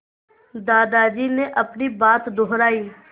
दादाजी ने अपनी बात दोहराई